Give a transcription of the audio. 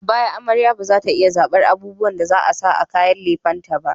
A baya, amarya ba za ta iya zabar abubuwan da za a sa a kayan lefen ta ba.